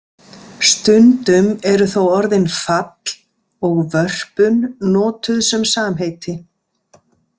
Stundum eru þó orðin „fall“ og „vörpun“ notuð sem samheiti.